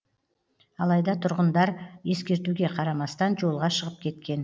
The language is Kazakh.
алайда тұрғындар ескертуге қарамастан жолға шығып кеткен